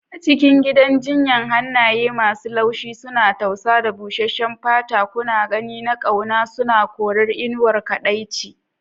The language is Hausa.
A cikin gidan jinya, hannaye masu laushi suna tausa da busheshen fata, gunaguni na ƙauna suna korar inuwar kaɗaici.